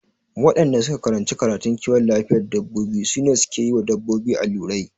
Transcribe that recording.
Waɗanda suka karanci karatun kiwon lafiyar dabbobi su ne suke yiwa dabbobi allurai